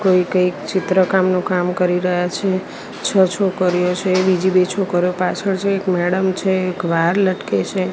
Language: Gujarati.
કોઈ કઈક ચિત્રકામનું કામ કરી રહ્યા છે છ છોકરીઓ છે બીજી બે છોકરીઓ પાછળ છે એક મેડમ છે એક વાયર લટકે છે.